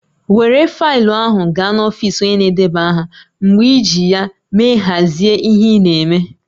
Were faịlụ ahụ gaa n'ọfisi onye na-edeba aha mgbe iji ya me has ihe ị na-eme